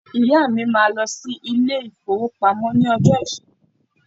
Ìyá mi máà lọ sí ilé-ìfowópamọ́ ní ọjọ́ Ìṣẹ́gun.